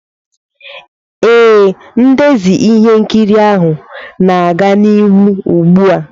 Ee, ndezi ihe nkiri ahụ na-aga n'ihu ugbu a.